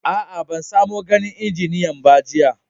Aa, ban samo ganin injiniyan ba jiya.